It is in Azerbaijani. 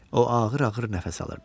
O ağır-ağır nəfəs alırdı.